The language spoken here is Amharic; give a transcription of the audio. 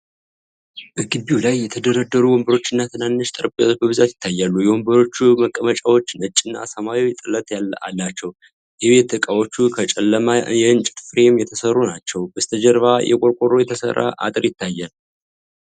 በግቢው ላይ የተደረደሩ ወንበሮችና ትናንሽ ጠረጴዛዎች በብዛት ይታያሉ። የወንበሮቹ መቀመጫዎች ነጭና ሰማያዊ ጥለት አላቸው። የቤት እቃዎቹ ከጨለማ የእንጨት ፍሬም የተሰሩ ናቸው፤ በስተጀርባ በቆርቆሮ የተሰራ አጥር ይታያል።